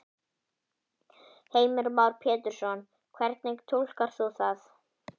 Heimir Már Pétursson: Hvernig túlkar þú það?